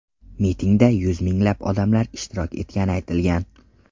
Mitingda yuz minglab odamlar ishtirok etgani aytilgan.